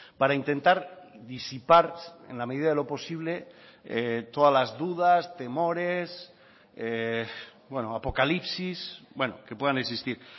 para intentar disipar en la medida de lo posible todas las dudas temores apocalipsis que puedan existir